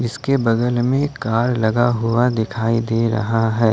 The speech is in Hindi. इसके बगल में कार लगा हुआ दिखाई दे रहा है।